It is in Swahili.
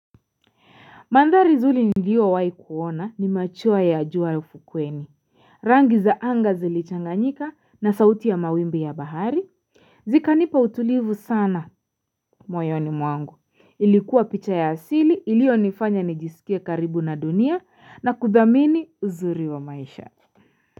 Mandhari nzuri niliyowahi kuona ni machweo ya jua ya ufukweni Rangi za anga zilichanganyika na sauti ya mawimbi ya bahari Zikanipa utulivu sana moyoni mwangu ilikuwa picha ya asili iliyonifanya nijisikie karibu na dunia na kuthamini uzuri wa maisha.